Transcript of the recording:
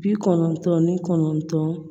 Bi kɔnɔntɔn ni kɔnɔntɔn